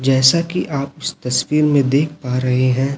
जैसा कि आप इस तस्वीर में देख पा रहे हैं।